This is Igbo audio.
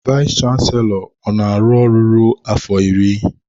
Vayis chansilọ ọ na-aru ruo afọ iri?